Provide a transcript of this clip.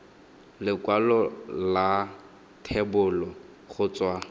lekwalo la thebolo go tswa